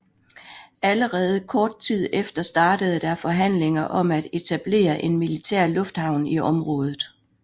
Allerede kort tid efter startede der forhandlinger om at etablere en militær lufthavn i området